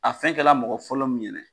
A fɛn kɛla mɔgɔ fɔlɔ min ɲɛna